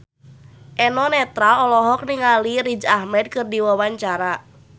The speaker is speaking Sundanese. Eno Netral olohok ningali Riz Ahmed keur diwawancara